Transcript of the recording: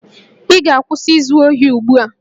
Ị ga-akwụsị izu ohi ugbu a!